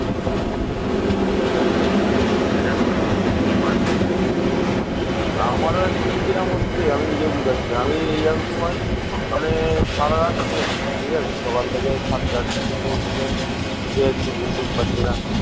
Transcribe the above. বাংলা বদ্বীপটি কয়েক সহস্রাব্দ ধরে ঘন জঙ্গল ও জলাভূমির দ্বারা গঠিত হয়েছে